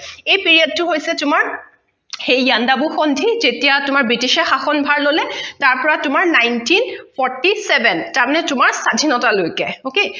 এই period টো হৈছে তোমাৰ সেই ইয়াণ্ডাবু সন্ধি যেতিয়া তোমাৰ ব্ৰিটিছেৰ শাসন ভাৰ ললে তাৰ পৰা তোমাৰ ninety forty seven তাৰ মানে তোমাৰ স্বাধীনতা লৈকে okay